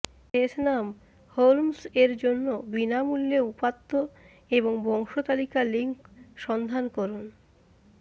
শেষ নাম হোলমস এর জন্য বিনামূল্যে উপাত্ত এবং বংশতালিকা লিঙ্ক সন্ধান করুন